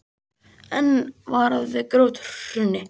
Enn varað við grjóthruni